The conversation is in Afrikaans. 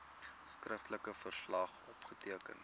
skriftelike verslag opgeteken